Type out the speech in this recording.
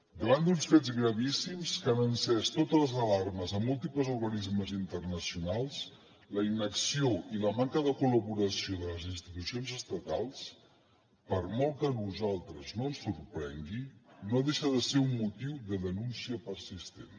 davant d’uns fets gravíssims que han encès totes les alarmes en múltiples organismes internacionals la inacció i la manca de col·laboració de les institucions estatals per molt que a nosaltres no ens sorprengui no deixa de ser un motiu de denúncia persistent